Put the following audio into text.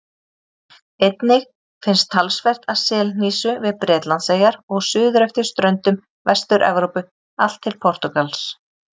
Einnig finnst talsvert af selhnísu við Bretlandseyjar og suður eftir ströndum Vestur-Evrópu allt til Portúgals.